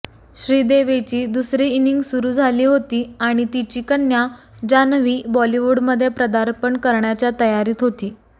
श्रीदेवीची दुसरी इनिंग सुरु झाली होती आणि तिची कन्या जान्हवी बॉलिवूडमध्ये पदार्पण करण्याच्या तयारीत होती